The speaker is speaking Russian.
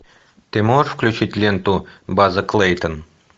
ты можешь включить ленту база клейтон